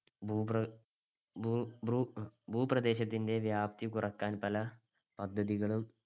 ഭൂപ്ര~ ഭൂ~ ഭൂ~ ഭൂപ്രദേശത്തിൻടെ വ്യാപ്‌തി കുറക്കാൻ പല പദ്ധതികളും